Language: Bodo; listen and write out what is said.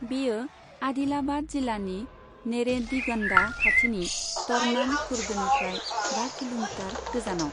बेयो आदिलाबाद जिल्लानि नेरेडीगन्डा खाथिनि तरनाम खुर्दनिफ्राय बा किल'मिटार गोजानाव।